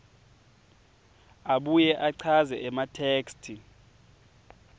abuye achaze ematheksthi